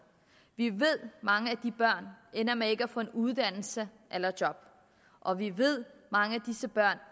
vi ved at mange af de børn ender med ikke at få nogen uddannelse eller job og vi ved at mange af disse børn